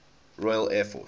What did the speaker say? royal air force